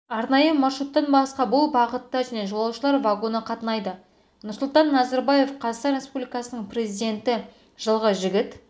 арнайы маршруттан басқа бұл бағытта және жолаушылар вагоны қатынайды нұрсұлтан назарбаев қазақстан республикасының президенті жылғы жігіт